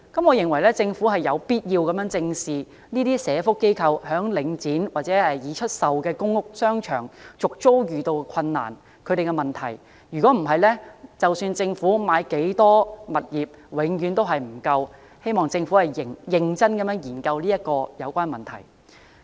我認為政府有必要正視社福機構在領展或已出售的公屋商場續租遇到困難的問題，否則無論政府購置多少物業，永遠也不足夠，希望政府認真研究有關問題。